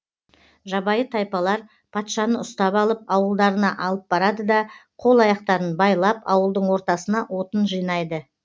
жабайы тайпалар патшаны ұстап алып ауылдарына алып барады да қол аяқтарын байлап ауылдың ортасына отын жинайды